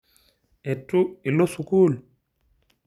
Etu ilo sukuul?